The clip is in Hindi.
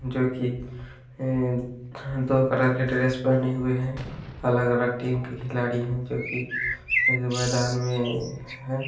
--जोकि अ दो कलर की ड्रेस पहने हुए हैं अलग अलग टीम के खिलाड़ी है जो कि मैदान में है।